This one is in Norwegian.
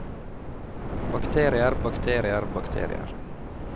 bakterier bakterier bakterier